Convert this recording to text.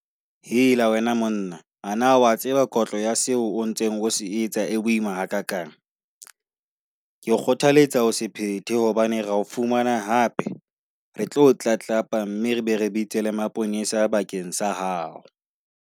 Hela wena monna, a na wa tseba kotlo ya seo o ntseng se etsa e boima hakakang? Ke kgothaletsa ho se phete hobane ra o fumana hape, re tlo o tlatlapa mme re be re bitse maponesa bakeng sa hao.